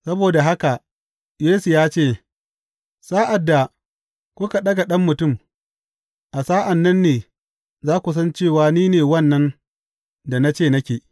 Saboda haka Yesu ya ce, Sa’ad da kuka ɗaga Ɗan Mutum, a sa’an nan ne za ku san cewa ni ne wannan da na ce nake.